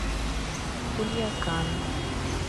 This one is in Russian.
кульякан